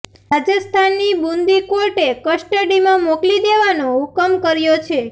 રાજસ્થાનની બુંદી કોર્ટે કસ્ટડીમાં મોકલી દેવાનો હુકમ કર્યો છે